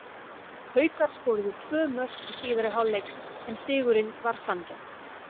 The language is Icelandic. Haukar skoruðu tvö mörk í síðari hálfleik en sigurinn var sanngjarn.